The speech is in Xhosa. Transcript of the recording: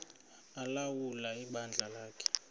ulawula ibandla lakhe